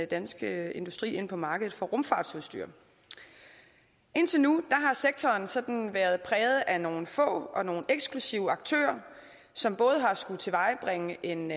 danske industri ind på markedet for rumfartsudstyr indtil nu har sektoren sådan været præget af nogle få og nogle eksklusive aktører som både har skullet tilvejebringe en